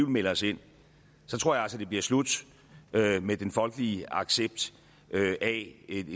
melder os ind så tror jeg altså det bliver slut med den folkelige accept af et